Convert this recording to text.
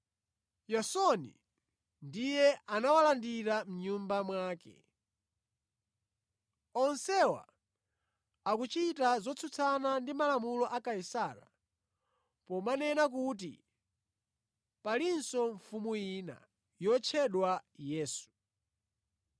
Yasoni ndiye anawalandira mʼnyumba mwake. Onsewa akuchita zotsutsana ndi malamulo a Kaisara pomanena kuti palinso mfumu ina, yotchedwa Yesu.”